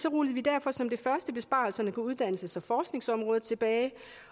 rullede vi derfor som det første besparelserne på uddannelses og forskningsområdet tilbage